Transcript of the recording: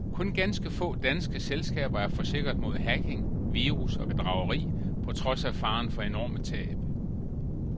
Kun ganske få danske selskaber er forsikret mod hacking, virus og bedrageri, på trods af faren for enorme tab.